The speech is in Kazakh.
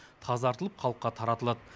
тазартылып халыққа таратылады